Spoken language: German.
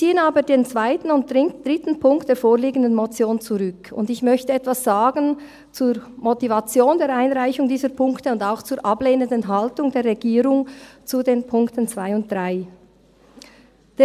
Den zweiten und dritten Punkt der vorliegenden Motion ziehen wir zurück, und ich möchte etwas zur Motivation der Einreichung dieser Punkte und auch zur ablehnenden Haltung der Regierung zu den Punkten 2 und 3 sagen.